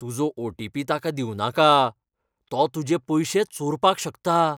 तुजो ओ.टी.पी. ताका दिवनाका . तो तुजें पयशें चोरपाक शकता.